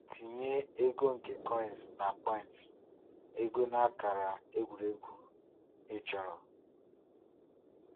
Tinye ego nke Coins na Points (ego na akara egwuregwu) ịchọrọ.